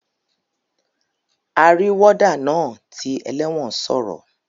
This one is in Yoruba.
Arí warder naa ti eléwòn sòrò